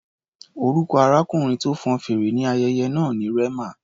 Orúkọ arákùnrin tó fọn fèrè ní ayẹyẹ náà ni Rema.